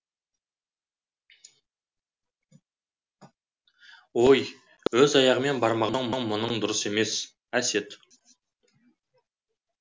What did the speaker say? әсет ой өз аяғымен бармаған соң мұның дұрыс емес